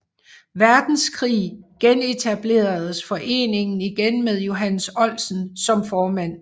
Verdenskrig genetableredes foreningen igen med Johannes Oldsen som formand